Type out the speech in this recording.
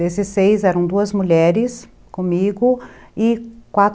Desses seis, eram duas mulheres comigo e qua